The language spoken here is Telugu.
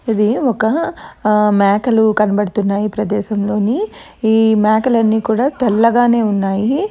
ఇది ఒక ఆ మేకలు కనబడుతున్నాయి ఈ ప్రదేశంలోనీ ఈ మేకలన్ని కూడా తెల్లగానే ఉన్నాయి.